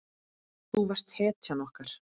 Þú varst hetjan okkar.